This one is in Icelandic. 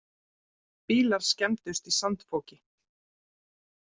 Bílar skemmdust í sandfoki